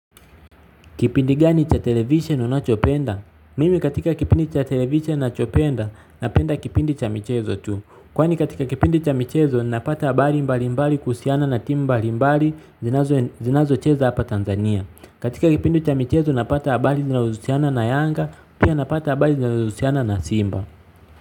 Kipindi gani cha television unachopenda? Mimi katika kipindi cha television nachopenda napenda kipindi cha michezo tu. Kwani katika kipindi cha michezo napata habari mbali mbali kuhusiana na timu mbali mbali zinazo cheza hapa Tanzania. Katika kipindi cha michezo napata habari zinazo husiana na Yanga pia napata habari zinazo husiana na Simba.